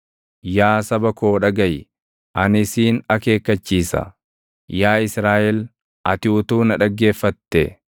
“Yaa saba koo dhagaʼi; ani siin akeekkachiisa; yaa Israaʼel ati utuu na dhaggeeffate!